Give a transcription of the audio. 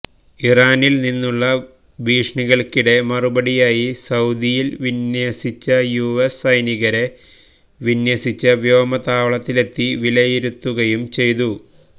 ഇറാനിൽ നിന്നുള്ള ഭീഷണികൾക്കിടെ മറുപടിയായി സഊദിയിൽ വിന്യസിച്ച യു എസ് സൈനികരെ വിന്യസിച്ച വ്യോമതാവളത്തിലെത്തി വിലയിരുത്തുകയും ചെയ്തു